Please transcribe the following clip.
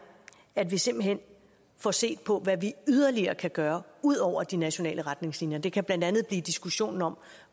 at vi simpelt hen får set på hvad vi yderligere kan gøre ud over de nationale retningslinjer det kan blandt andet blive diskussionen om